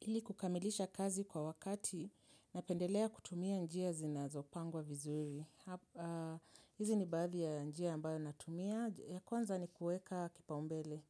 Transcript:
Ili kukamilisha kazi kwa wakati ninapendelea kutumia njia zinazopangwa vizuri. Hizi ni baadhi ya njia ambayo natumia. Kwanza ni kueka kipaumbele.